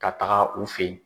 Ka taga u fɛ ye.